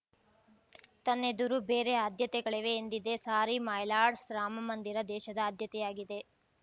ತನ್ನೆದುರು ಬೇರೆ ಆದ್ಯತೆಗಳಿವೆ ಎಂದಿದೆ ಸಾರಿ ಮೈ ಲಾರ್ಡ್ಸ್ ರಾಮಮಂದಿರ ದೇಶದ ಆದ್ಯತೆಯಾಗಿದೆ